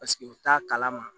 Paseke u t'a kalama